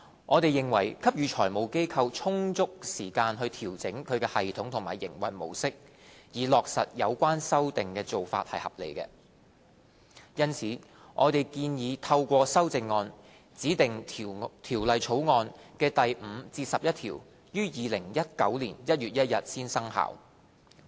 我們認為給予財務機構充足時間調整其系統及營運模式，以落實有關修訂的做法合理。因此，我們建議透過修正案，指定《條例草案》的第5至11條於2019年1月1日才生效。